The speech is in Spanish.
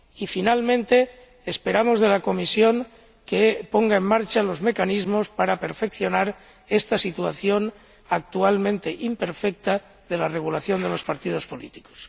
Finalmente, esperamos de la Comisión que ponga en marcha los mecanismos para perfeccionar esta situación, actualmente imperfecta, de la regulación de los partidos políticos.